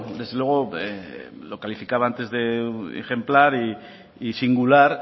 desde luego lo calificaba antes de ejemplar y singular